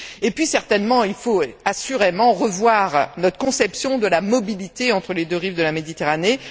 Et puis, certainement, il faut assurément revoir notre conception de la mobilité entre les deux rives de la Méditerranée.